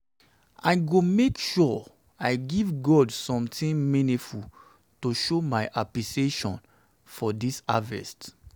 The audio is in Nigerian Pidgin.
i go make go make sure i give god something meaningful to show my appreciation for dis harvest